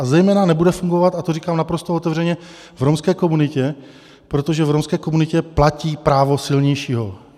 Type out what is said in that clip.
A zejména nebude fungovat - a to říkám naprosto otevřeně - v romské komunitě, protože v romské komunitě platí právo silnějšího.